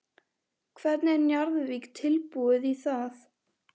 Hvernig er Njarðvík tilbúið í það?